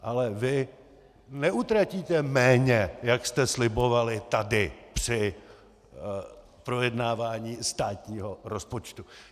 Ale vy neutratíte méně, jak jste slibovali tady při projednávání státního rozpočtu.